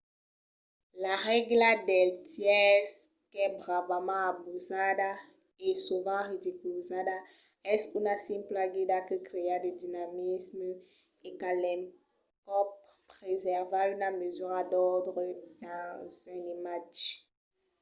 la règla dels tèrces qu'es bravament abusada e sovent ridiculizada es una simpla guida que crèa de dinamisme e qu'a l'encòp presèrva una mesura d’òrdre dins un imatge